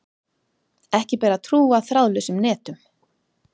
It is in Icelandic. Ekki ber að trúa þráðlausum netum.